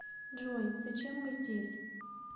джой зачем мы здесь